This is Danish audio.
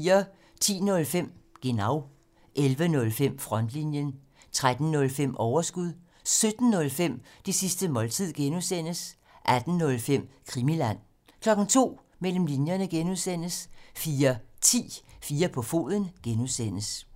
10:05: Genau 11:05: Frontlinjen 13:05: Overskud 17:05: Det sidste måltid (G) 18:05: Krimiland 02:00: Mellem linjerne (G) 04:10: 4 på foden (G)